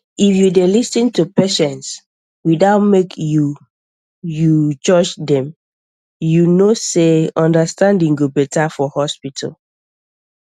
if you dey lis ten to patients without make you you judge dem you know sey understanding go better for hospital